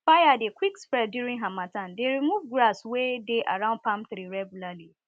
fire dey quick spread during harmattan dey remove grass wey dey around palm tree regularly